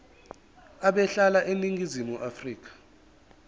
ebehlala eningizimu afrika